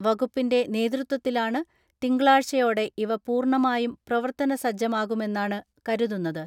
വകുപ്പിന്റെ നേതൃത്വത്തിലാണ് തിങ്കളാഴ്ചയോടെ ഇവ പൂർണ്ണമായും പ്രവർത്തനസജ്ജമാ കുമെന്നാണ് കരുതുന്നത്.